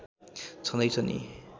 छँदै छ नि